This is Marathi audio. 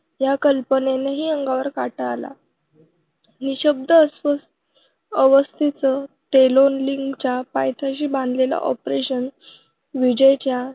ह्या कल्पनेनंही अंगावर काटा आला नि शब्द अवस्थेतच तोलोलिंगच्या पायथ्याशी बांधलेल्या operation विजय च्या